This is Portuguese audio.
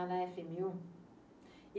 Ah, na efe eme u?